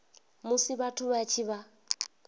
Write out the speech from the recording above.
musi vhathu vha tshi vha